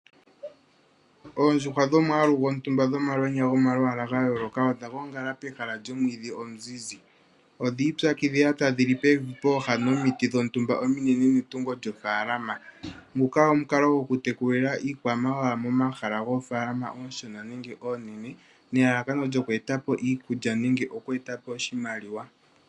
Oondjuhwa dhomwaalu gontumba dhomalwenya gomalwaala gayooloka odha gongala pehala lyomwiidhi omuzizi. Odha ipyakidhila tadhi li pevi pooha nomiti dhontumba ominene netungo lyofaalama. Nguka omukalo gokutekulila iikwamawawa momahala goofaalama oonshona nenge oonene nelalakano lyoku eta po iikulya nenge oku eta po oshimaliwa.